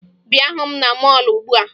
Bịa hụ m na mọọlụ ugbua!